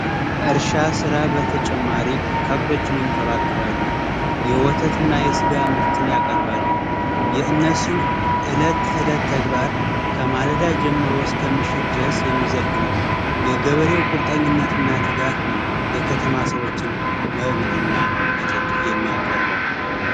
ከእርሻ ስራ በተጨማሪ ከብቶችን ይንከባከባሉ የወተትና የስጋ ምርትን ያቀርባሉ የእነሱ የእለት ተዕለት ተግባር ማለዳ ጀምሮ እስከ ምሽት ድረስ የሚዘልቅ ነው የገበሬው ቁርጠኛነትና ትጋት ነው የከተማው ማሳወችን መብልና መጠጥ የሚያቀርበው።